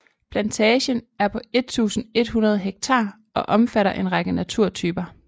Plantagen er på 1100 ha og omfatter en række naturtyper